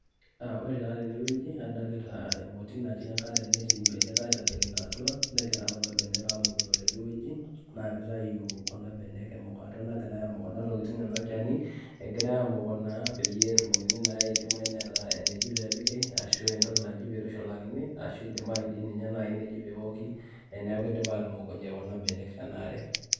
Ore taa tenewueji, adolita emoti natii enkare netii benek aitadokino atua, negira kuna benek amukuno tenewueji, naa kitayu kuna benek emukata nagirai amuk kuna tokiting enolchani, egirai amuku naa peyie etumokini naa idimayu neeta eneji pepiki, ashu entoki naji peitushulakini, ashu idimayu di ninye nai neji peoki, eneeku idipa atumukunye kuna benek tenaare.